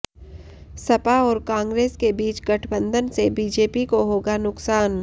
सपा और कांग्रेस के बीच गठबंधन से बीजेपी को होगा नुकसान